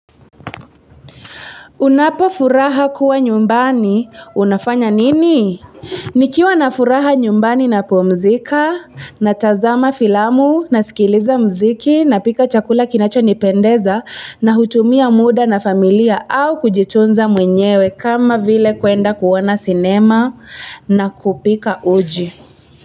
Unapo furaha kuwa nyumbani, unafanya nini? Nikiwa na furaha nyumbani napumzika, natazama filamu, nasikiliza muziki, napika chakula kinacho nipendeza, na hutumia muda na familia au kujitunza mwenyewe kama vile kwenda kuona cinema na kupika uji.